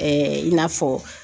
i n'a fɔ